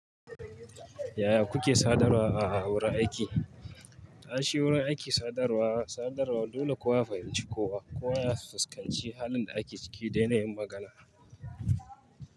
Yaya kuke sadarwa a wurin aiki? Aishi wurin aikin sadarwa, sadarwa dole kowa ya fahimci kowa. Kowa ya fuskanci halin da ake ciki dai na yin magana.